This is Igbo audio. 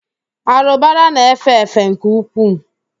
Árụ̀bara na-efe efe nke ukwuu.